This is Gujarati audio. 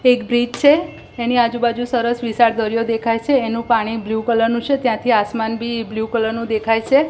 એક બ્રીજ છે એની આજુબાજુ સરસ વિશાળ દરિયો દેખાય છે એનું પાણી બ્લુ કલર નું છે ત્યાંથી આસમાન બી બ્લુ કલર નું દેખાય છે.